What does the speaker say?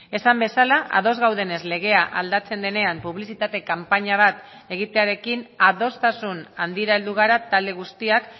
esan bezala ados gaudenez legea aldatzen denean publizitate kanpaina bat egitearekin adostasun handira heldu gara talde guztiak